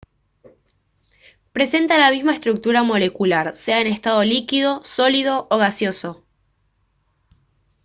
presenta la misma estructura molecular sea en estado líquido sólido o gaseoso